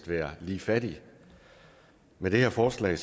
være lige fattige med det her forslag